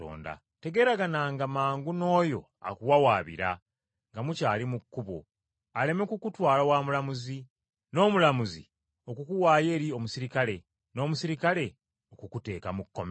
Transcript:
“Tegeeragananga mangu n’oyo akuwawaabira nga mukyali mu kkubo aleme kukutwala wa mulamuzi, n’omulamuzi okukuwaayo eri omuserikale, n’omuserikale okukuteeka mu kkomera.